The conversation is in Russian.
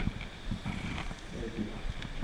эпик